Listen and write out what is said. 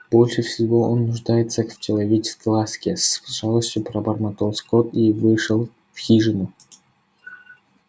больше всего он нуждается в человеческой ласке с жалостью пробормотал скотт и вошёл в хижину